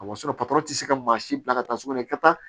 O y'a sɔrɔ patɔrɔn tɛ se ka maa si bila ka taa sugunɛ kɛ ta